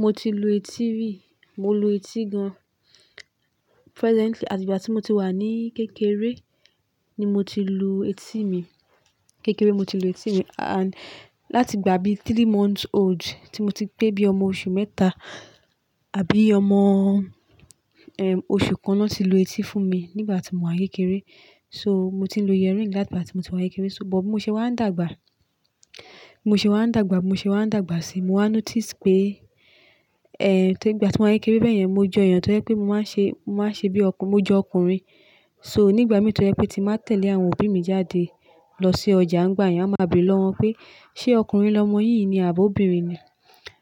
Mo ti lu etí rí. Mo lu etí gan presently. Àti ìgbà tí mo ti wà ní kékeré ni mo ti lu etí mi. Kékeré mo ti lu etí mi and láti ìgbà bí three months old tí mo ti gbé bí ọmọ oṣù mẹ́ta àbí ọmọ, ehm, oṣù kan lọ́ ti lu etí fún mi nígbà tí mò wa ń kékeré. So mo ti lo ear ring láti ìgbà tí mo ti wá n'kékeré. So bọ̀ mo ṣe wá ń dàgbà, mo ṣe wá ń dàgbà, mo ṣe wá ń dàgbà sí i, mo wá notice pé, eh, tó ìgbà tí mò ń yayékeré bẹ́ẹ̀ yẹn mo jọ èèyàn tó jẹ́ pé mo máa ṣe, mo máa ṣe bí ọkùnrin, mo jọ ọkùnrin. So nígbà mi tó rẹ pé tí màá tẹ̀lé àwọn òbí mi jáde lọ sí ọjà ń gbá èèyàn, wọ́n máa bèrè lọ́wọ́ wọn pé, "Ṣé ọkùnrin lọmọ yìí ni àbí obìnrin ni?"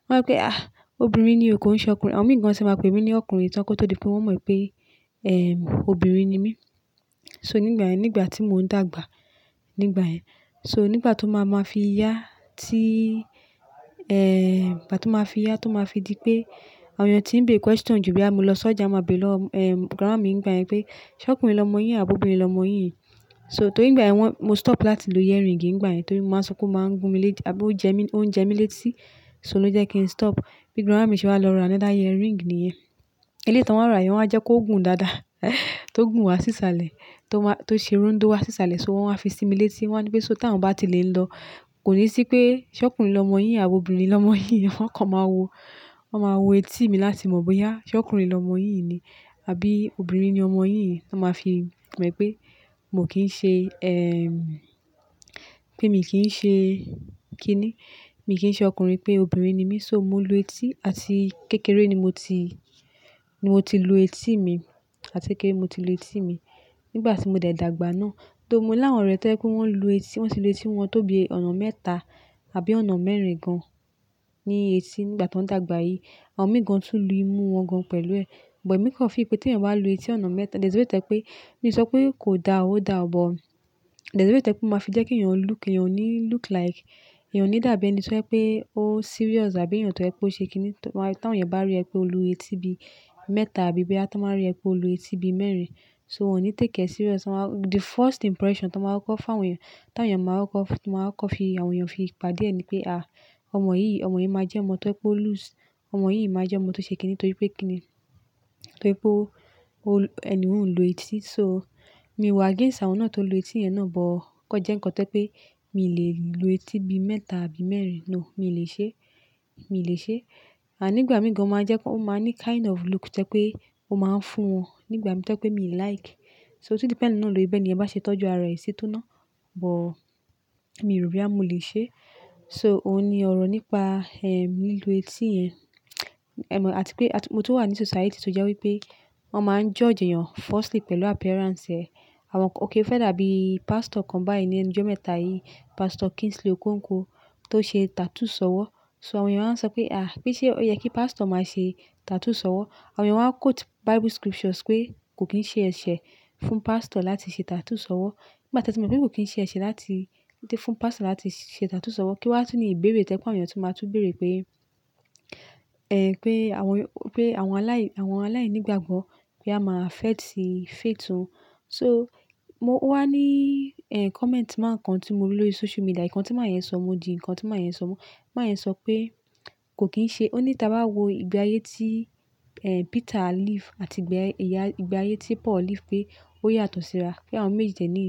Wọ́n yóò pé, "Ah, obìnrin ni òun, kò ṣe ọkùnrin." Àwọn mìíràn sì máa pe mí ní ọkùnrin tán kí ó tó di pé wọ́n mọ̀ pé, ehm, obìnrin ni mí. So nígbà yẹn, nígbà tí mò ń dàgbà nígbà yẹn, so nígbà tó máa ma fi yá tí, eh, ìgbà tó máa fi yá tó máa fi di pé àwọn èèyàn tí ń bé question jù bí à mú lọ sójà máa bèrè lọ́, eh, grandma mi nígbà yẹn pé, "Ṣé ọkùnrin lọmọ yìí ni àbí obìnrin lọmọ yìí i?" So torí nígbà yẹn wọ́n, mo stop láti lu ear ring nígbà yẹn torí mo máa sọ pé ó máa ń gún mi létí àbí ó jẹ mí, ó ń jẹ mí létí. So ló jẹ́ kí n stop. Bí grandma mi ṣe wá lọ ra another ear ring níyẹn. Elétan wọ́n rà yẹn, wọ́n á jẹ́ kó gùn dáadáa, tó gùn wá sísàlẹ̀, tó máa, tó ṣe rundó wá sísàlẹ̀ so wọ́n máa fi sinmi létí. Wọ́n ní pé so táwọn bá ti lè ń lọ kò ní sí pé ṣé ọkùnrin lọmọ yìí ni àbí obìnrin lọmọ yìí ni. Wọ́n kàn máa wo, wọ́n máa wo etí mi láti mọ̀ bóyá ṣé ọkùnrin lọmọ yìí ni àbí obìnrin ni ọmọ yìí ni. Wọ́n máa fi mọ̀ pé mò kín ṣe, ehm, pé mi kì í ṣe kíni, mi kì í ṣe ọkùnrin pé obìnrin ni mí. So mo lu etí àti kékeré ni mo ti, ni mo ti lu etí mi. Àti kékeré mo ti lu etí mi nígbà tí mo dàgbà ná. Tó mo láwọn ọ̀rẹ́ tó jẹ́ pé wọ́n lu etí, wọ́n ti lu etí wọn tó bí i ọ̀nà mẹ́ta àbí ọ̀nà mẹ́rin gan ní etí nígbà tó ń dàgbà yìí. Àwọn mìíràn tún lu imú wọn gan pẹ̀lú ẹ. But èmi kan fi ìpè tí ẹ̀yin bá lu etí ọ̀nà mẹ́ta. There's a way tó jẹ́ pé, mi ò sọ pé kò da ó da, but there's a way tó jẹ́ pé ó máa fi jẹ́ kí èèyàn look, èèyàn ò ní look like, èèyàn ò ní dàbí ẹni tó jẹ́ pé ó serious àbí èèyàn tó jẹ́ pé ó ṣe kíni. Tán awon èèyàn bá rí ẹ pé o lu etí bí i mẹ́ta àbí bí i bá tó máa rí ẹ pé o lu etí bí i mẹ́rin, so wọ́n ò ní take e serious. Wọn máa-- the first impression tó máa kọ́ fá àwọn èèyàn, táwọn èèyàn máa kọ́, tó máa kọ́ fi àwọn èèyàn fi padà ẹni pé, "Àá, ọmọ yìí, ọmọ yìí máa jẹ́ ọmọ tó ṣe pé ó loose. Ọmọ yìí máa jẹ́ ọmọ tó ṣe kíni torí pé kíni, torí pé ó, ó, ẹni òún lu etí." So mi wà against àwọn náà tó lu etí irẹ́ náà, but kò jẹ́ nǹkan tó jẹ́ pé mi lè lu etí bí i mẹ́ta àbí mẹ́rin. No, mi ò lè ṣe é. Mi ò lè ṣe é. À nígbà mìí gan ó máa jẹ́ kó máa ní kind of look tó jẹ́ pé ó máa ń fún wọn nígbà tó jẹ́ pé mi ò like. So otu depend na lori bẹ̀ ni ẹ̀yin bá ṣe tọ́jú ara ẹ sí tóná. But mi ò rí boyà mo lè ṣe é. So òun ni ọ̀rọ̀ nípa, ehm, lílù etí yẹn. Emo àti pé, àti mo tó wà ní society tó jẹ́ wípé wọ́n máa ń judge èèyàn firstly pẹ̀lú appearance ẹ̀. Àwọn-- okay, o fẹ́ dàbí pastor kan báyìí nínú ọjọ́ mẹ́ta yìí, Pastor Kingsley Okonkwo tó ṣe tattoo sọ́wọ́. So àwọn èèyàn máa ń sọ pé, "Àá, kí ṣe ó yẹ kí pastor máa ṣe tattoo sọ́wọ́?" Àwọn èèyàn máa quote Bible scriptures pé kò kín ṣe ẹ̀ṣẹ̀ fún pastor láti ṣe tattoo sọ́wọ́. Nígbà tó mo mọ̀ pé kò kín ṣe ẹ̀ṣẹ̀ láti, láti fún pastor láti ṣe tattoo sọ́wọ́ kí wọ́n tó ní ìbéèrè tó jẹ́ pé àwọn èèyàn tó máa tún béèrè pé, eh, pé àwọn, pé àwọn aláì, àwọn aláìnígbàgbọ́ pe a máa fẹ́ ti fẹ̀tún. So mo wá ní, eh, comment mán kan tí mo rí lórí social media, nǹkan tí màn yẹn sọ, mo di nǹkan tí màn yẹn sọ mu. Màn yẹn sọ pé kò kín ṣe-- ó ní tí a bá wo ìgbé ayé tí, eh, Peter live àti ìgbà, ìgbà ayé tí Paul live pé ó yàtọ̀ síra. Pé àwọn méjèèjì ni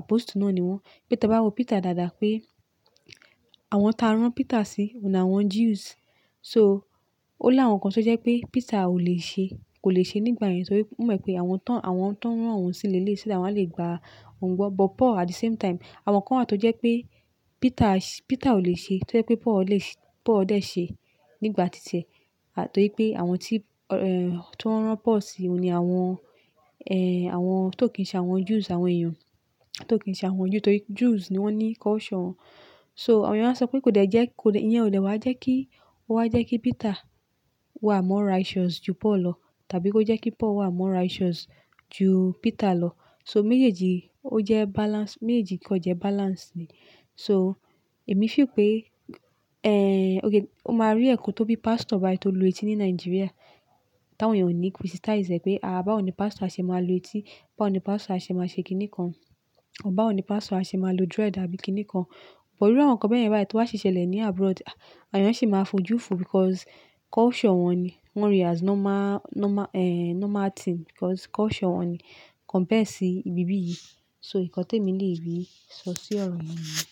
apostle náà ni wọ́n. Pé tí a bá wo Peter dáadáa pé àwọn tá rán Peter sí òun ni àwọn Jews. So ó ní àwọn kan tó jẹ́ pé Peter ò lè ṣe, kò lè ṣe nígbà yẹn torí ó mọ̀ pé àwọn tán, àwọn tó rán òun sílé lé ṣó dáwọ́n le gba òun gbọ́. But Paul at the same time àwọn kan à tó jẹ́ pé Peter, Peter ò lè ṣe, tó jẹ́ pé Paul lè ṣe, Paul dẹ̀ ṣe nígbà titi e àtorí pé àwọn tí, eh, tó rán Paul sí òun ni àwọn, eh, àwọn tó kì í ṣe àwọn Jews, àwọn èèyàn tó kì í ṣe àwọn Jew torí Jews ni wọ́n ní culture wọn. So àwọn èèyàn máa ń sọ pé kò dẹ́ jẹ́, kò dẹ́, ìyẹn ò dẹ́ wá jẹ́ kí ó wá jẹ́ kí Peter wà mó righteous ju Paul lọ tàbí kó jẹ́ kí Paul wà mó righteous ju Peter lọ. So méjèèjì ó jẹ́ balance, méjèèjì kan jẹ́ balance ni. So èmi fì pé, eh, okay, o máa rí ẹ̀kọ́ tó bí pastor bàíì tó lu etí ní Nigeria táwọn èèyàn ò ní criticize ẹ̀ pé, "Àá, báwo ni pastor ṣe máa lu etí? Báwo ni pastor ṣe máa ṣe kíni kan? Ọ báwo ni pastor ṣe máa lu dread àbí kíni kan?" But iru àwọn kan bẹ́ẹ̀ yẹn bá ì tí wọ́n sì ṣẹlẹ̀ ní abroad, àwọn èèyàn sì máa fojú fun because culture wọn ni. Wọ́n ríi as normal, normal, eh, normal thing because culture wọn ni compared sí ibi bí yìí. So ìkọ́ni tí èmi lè rí sọ sí ọ̀rọ̀ yen niyen.